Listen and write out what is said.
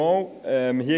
Kommissionssprecher